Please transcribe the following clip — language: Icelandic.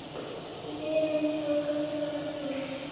Í dyrunum stóð Guðfinna hans Jóns.